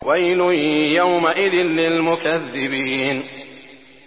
وَيْلٌ يَوْمَئِذٍ لِّلْمُكَذِّبِينَ